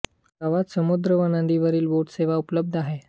गावात समुद्र व नदीवरील बोट सेवा उपलब्ध आहे